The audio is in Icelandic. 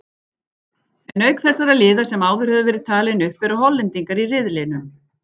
En auk þessara liða sem áður höfðu verið talin upp eru Hollendingar í riðlinum.